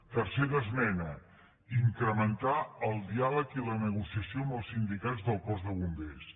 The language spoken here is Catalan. tercera esmena incrementar el diàleg i la negociació amb els sindicats del cos de bombers